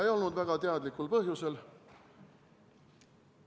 Ei olnud väga teadlikul põhjusel.